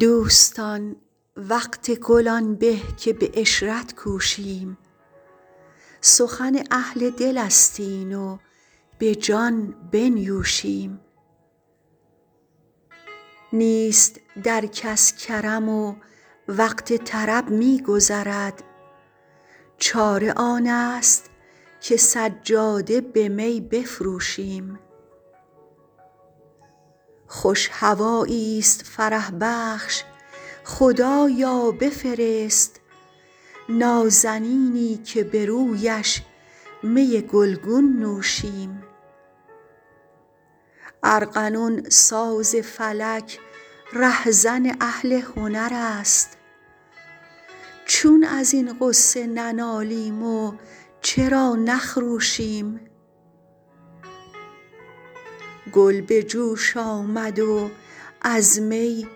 دوستان وقت گل آن به که به عشرت کوشیم سخن اهل دل است این و به جان بنیوشیم نیست در کس کرم و وقت طرب می گذرد چاره آن است که سجاده به می بفروشیم خوش هوایی ست فرح بخش خدایا بفرست نازنینی که به رویش می گل گون نوشیم ارغنون ساز فلک ره زن اهل هنر است چون از این غصه ننالیم و چرا نخروشیم گل به جوش آمد و از می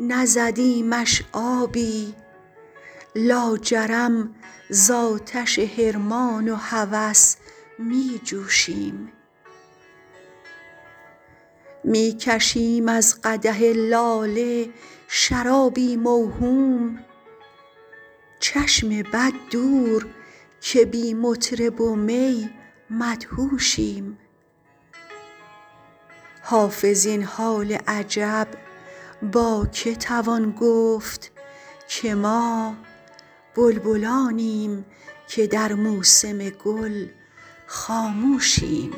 نزدیمش آبی لاجرم زآتش حرمان و هوس می جوشیم می کشیم از قدح لاله شرابی موهوم چشم بد دور که بی مطرب و می مدهوشیم حافظ این حال عجب با که توان گفت که ما بلبلانیم که در موسم گل خاموشیم